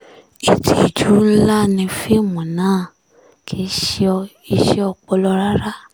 ìtìjú ńlá ni fíìmù náà kì í ṣe iṣẹ́ ọpọlọ rárá